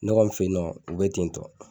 Ne kɔni fe yen nɔ, u be ten tɔ.